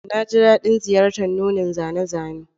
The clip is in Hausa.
Na ji daɗin ziyartar nunin zane-zane